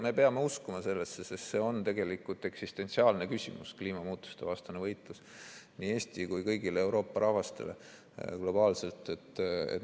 Me peame uskuma sellesse, sest see kliimamuutustevastane võitlus on tegelikult eksistentsiaalne küsimus nii Eestile kui ka kõigile Euroopa rahvastele, globaalselt.